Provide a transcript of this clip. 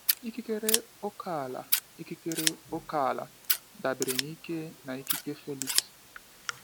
Ikikere ókèala Ikikere ókèala dabere n'ike na ikike Felix.